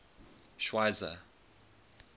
schweizer